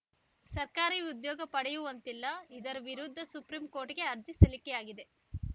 ಸರ್ಕಾರಿ ಉದ್ಯೋಗ ಪಡೆಯುವಂತಿಲ್ಲ ಇದರ ವಿರುದ್ಧ ಸುಪ್ರೀಂಕೋರ್ಟಿಗೆ ಅರ್ಜಿ ಸಲ್ಲಿಕೆಯಾಗಿದೆ